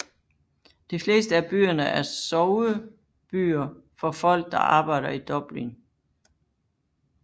De fleste af byerne er soverbyer for folk der arbejder i Dublin